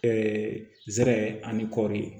zɛrɛ ani kɔɔri